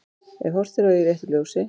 Ef horft er á í réttu ljósi.